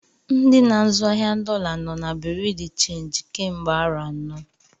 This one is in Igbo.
Ndị n'azụ ahịa dọla nọ na Bureau de change kemgbe arọ anọ.